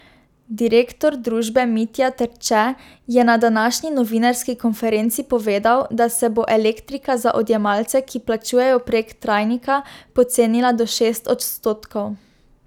Direktor družbe Mitja Terče je na današnji novinarski konferenci povedal, da se bo elektrika za odjemalce, ki plačujejo prek trajnika, pocenila do šest odstotkov.